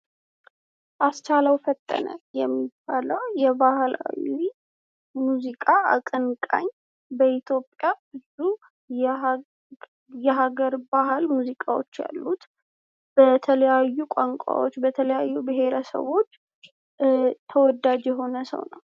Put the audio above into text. አስቻለው ፈጠነ የሚባለው የባህላዊ ሙዚቃ አቀንቃኝ በኢትዮጵያ ብዙ የሀገር ባህል ሙዚቃዎች ያሉት በተለያዩ ቋንቋዎች በተለያዩ ብሄረሰቦች ተወዳጅ የሆነ ሰው ነው።